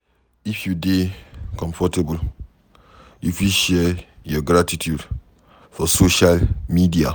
If you dey comfortable, you fit share your gratitude for social media